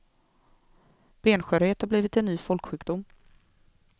Benskörhet har blivit en ny folksjukdom.